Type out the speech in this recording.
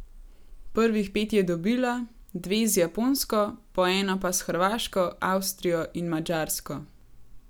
Prvih pet je dobila, dve z Japonsko, po eno pa s Hrvaško, Avstrijo in Madžarsko.